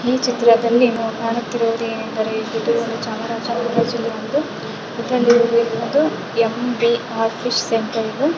ಈ ಚಿತ್ರದಲ್ಲಿ ನಮಗೆ ಕಾಣುತ್ತಿರುವು ದೇನೆಂದರೆ ಚಾಮರಾಜ ನಗರಜಿಲ್ಲೆಯ ಒಂದು ಎ.ಬಿ.ರ್ ಫಿಶ್ ಸೆಂಟರ್ ರೆ.